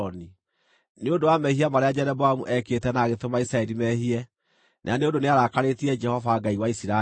nĩ ũndũ wa mehia marĩa Jeroboamu ekĩte na agĩtũma Isiraeli mehie, na nĩ ũndũ nĩarakarĩtie Jehova, Ngai wa Isiraeli.